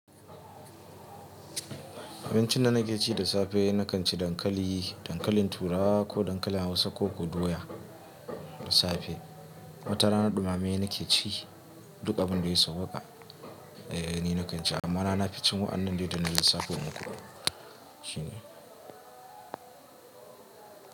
Abincin da nake ci da safe nakan ci dankali, dankalin turawa ko dankalin Hausa ko ko doya da safe. Wata rana ɗumamaye nake ci, duk abun da ya sauwaƙa eh ni nakan ci amma rana nafi cin wa'annan dai da na lissafo maku shine.